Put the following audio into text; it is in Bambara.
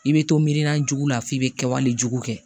I bɛ to miirina jugu laf'i bɛ kɛwale jugu kɛ